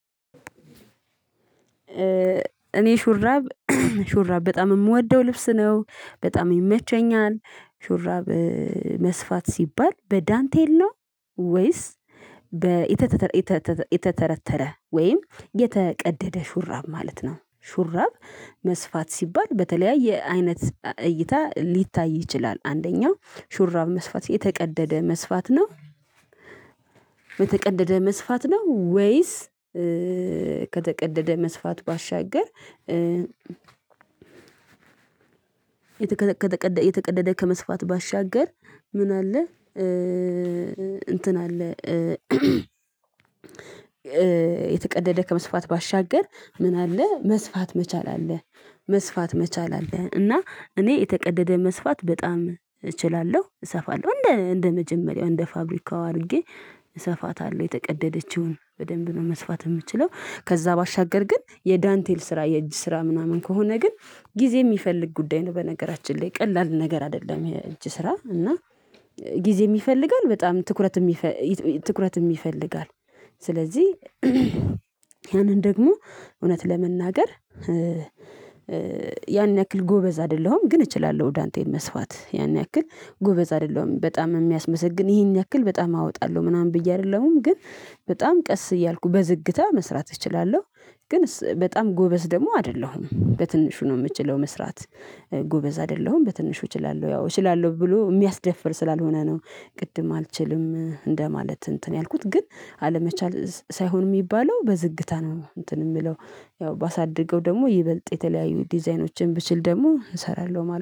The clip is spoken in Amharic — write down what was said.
እኔ ሹራብ ሹራብ በጣም የምወደው ልብስ ነው በጣም ይመቸኛል። ሹራብ መስፋት ሲባል በዳንቴሎ ወይስ በኢተተል የተተረተረ ወይም የተቀደደ ሹራብ ማለት ነው። ሹራብ መስፋት ሲባል በተለያየ አይነት እይታ ሊታይ ይችላል። አንደኛው ሹራብ መስፋት የተቀደደ መስፋት ነው። የተቀደደ መስፋት ነው ወይስ ከተቀደደ መስፋት ባሻገር የተቀደደ የተቀደደ ከመስፋት ባሻገር ምን አለ? እንትን አለ። የተቀደደ ከመስፋት ባሻገር ምን አለ መስፋት መቻል አለ። መስፋት መቻል አለ። እና እኔ የተቀደደ መስፋት በጣም እችላለሁ እሰፋለሁ እንደ እንደ መጀመሪያው እንደ ፋብሪካው አድርጌ እሰፋታለሁ የተቀደደችውን በደንብ ነው መስፋት የምችለው። ከዛ ባሻገር ግን የዳንቴል ስራ የእጅ ስራ ምናምን ከሆነ ግን ጊዜ የሚፈልግ ጉዳይ ነው። በነገራችን ላይ ቀላል ነገር አይደለም። እንጂ ስራ እና ጊዜም ይፈልጋል። በጣም ትኩረትም ትኩረትም ይፈልጋል። ስለዚህ ያንን ደግሞ እውነት ለመናገር። ያን ያክል ጎበዝ አይደለሁም ግን እችላለሁ። ዳንቴል መስፋት ያን ያክል ጎበዝ አይደለሁም። በጣም የሚያስመሰግን ይሄን ያክል በጣም አወጣለሁ ምናምን ብዬ አይደለሁም ግን በጣም ቀስ እያልኩ በዝግታ መስራት እችላለሁ። ግን በጣም ጎበዝ ደግሞ አይደለሁም በትንሹ ነው የምችለው። መስራት ጎበዝ አይደለሁም በትንሹ እችላለሁ ያው እችላለሁ ብሎ የሚያስደፍር ስላልሆነ ነው። ቅድም አልችልም እንደማለት እንትን ያልኩት ግን አለመቻል ሳይሆን የሚባለው በዝግታ ነው እንትን የምለው። ያው ባሳድገው ደግሞ ይበልጥ የተለያዩ ዲዛይኖችን ብችል ደግሞ እሰራለሁ።